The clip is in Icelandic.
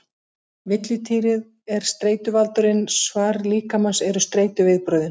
Villidýrið er streituvaldurinn, svar líkamans eru streituviðbrögðin.